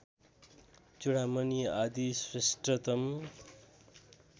चूडामणि आदि श्रेष्ठतम